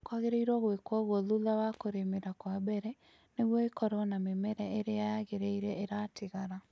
kwagĩrĩirwo gũĩkwo ũguo thutha wa kũrïmĩra kwa mbere nĩgwo ĩkorwo na mĩmera ĩrĩa yagĩrĩire iratigara